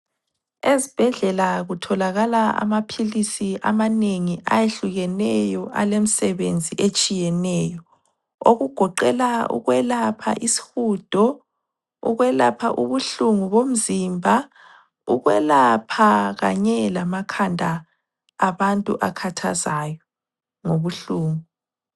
Ezibhedlela kutholakala amaphilisi amanengi ayehlukeneyo, alemsebenzi etshiyeneyo okugoqela ukwelapha isihudo, ukwelapha ubuhlungu bomzimba, ukwelapha kanye lamakhanda abantu akhathazayo ngobuhlungu.